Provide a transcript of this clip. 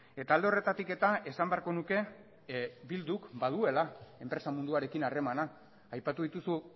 eta alde horretatik eta esan beharko nuke bilduk baduela enpresa munduarekin harremana aipatu dituzu